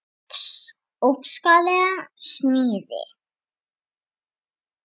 Ótrúleg smíð.